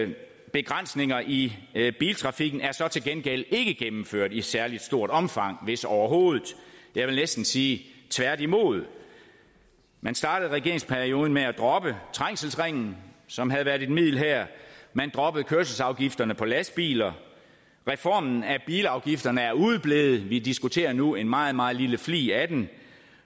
men begrænsninger i biltrafikken er så til gengæld ikke gennemført i et særligt stort omfang hvis overhovedet jeg vil næsten sige tværtimod man startede regeringsperioden med at droppe trængselsringen som havde været et middel her man droppede kørselsafgifterne på lastbiler reformen af bilafgifterne er udeblevet vi diskuterer nu en meget meget lille flig af den